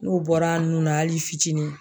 N'u bɔra a nun na hali fitinin